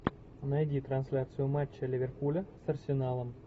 найди трансляцию матча ливерпуля с арсеналом